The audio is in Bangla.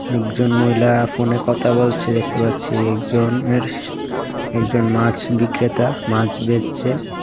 একজন মহিলা ফোনে কথা বলছে দেখতে পাচ্ছি একজন এর একজন মাছ বিক্রেতা মাছ বেঁচছে.